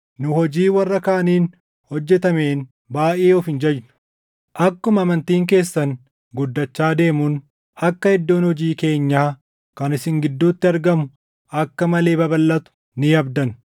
Nu hojii warra kaaniin hojjetameen baayʼee of hin jajnu. Akkuma amantiin keessan guddachaa deemuun akka iddoon hojii keenyaa kan isin gidduutti argamu akka malee babalʼatu ni abdanna;